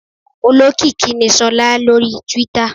Olókìkí ni Sola lórí Twitter.